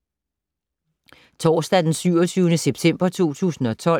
Torsdag d. 27. september 2012